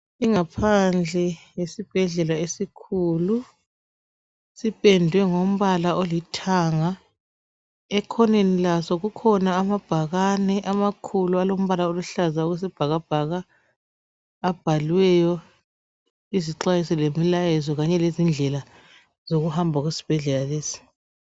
Ingaphandle yesibhedlela esikhulu sipendwe ngombala olithanga ekhoneni laso kukhona amabhakane amakhulu alombala oluhlaza okwesibhakabhaka abhaliweyo izixwayiso lemilayezo kanye lezindlela zokuhamba esibhedlela lesi.